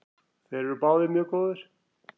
Þeir eru báðir mjög góðir.